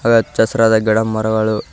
ಹಾಗೆ ಹಚ್ಚ ಹಸಿರಾದ ಗಿಡ ಮರಗಳು--